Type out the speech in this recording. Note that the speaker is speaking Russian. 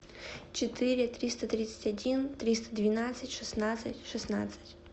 четыре триста тридцать один триста двенадцать шестнадцать шестнадцать